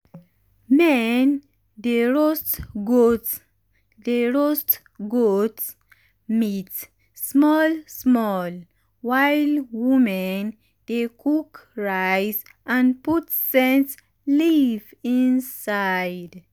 men dey roast goat dey roast goat meat small small while women dey cook rice and put scent leaf inside.